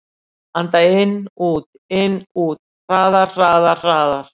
Anda inn-út-inn-út. hraðar, hraðar, hraðar.